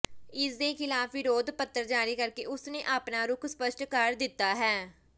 ਇਸ ਦੇ ਖਿਲਾਫ ਵਿਰੋਧ ਪੱਤਰ ਜਾਰੀ ਕਰਕੇ ਉਸ ਨੇ ਆਪਣਾ ਰੁਖ ਸਪੱਸ਼ਟ ਕਰ ਦਿੱਤਾ ਹੈ